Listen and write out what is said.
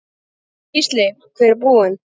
Gísli: Hver er hún?